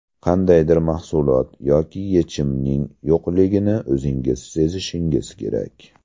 Qandaydir mahsulot yoki yechimning yo‘qligini o‘zingiz sezishingiz kerak.